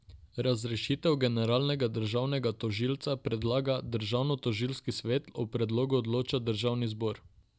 Razrešitev generalnega državnega tožilca predlaga državnotožilski svet, o predlogu odloča državni zbor.